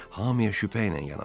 Hamiə şübhə ilə yanaşır.